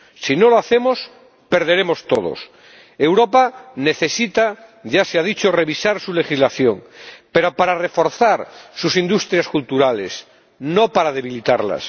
Si no lo hacemos, perderemos todos. Europa necesita, ya se ha dicho, revisar su legislación, pero para reforzar sus industrias culturales, no para debilitarlas.